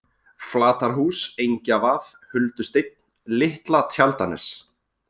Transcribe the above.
Flatarhús, Engjavað, Huldusteinn, Litla Tjaldanes